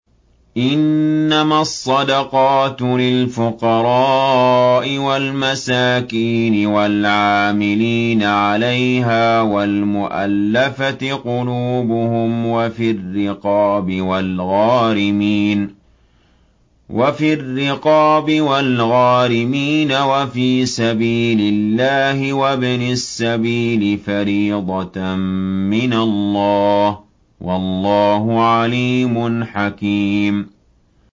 ۞ إِنَّمَا الصَّدَقَاتُ لِلْفُقَرَاءِ وَالْمَسَاكِينِ وَالْعَامِلِينَ عَلَيْهَا وَالْمُؤَلَّفَةِ قُلُوبُهُمْ وَفِي الرِّقَابِ وَالْغَارِمِينَ وَفِي سَبِيلِ اللَّهِ وَابْنِ السَّبِيلِ ۖ فَرِيضَةً مِّنَ اللَّهِ ۗ وَاللَّهُ عَلِيمٌ حَكِيمٌ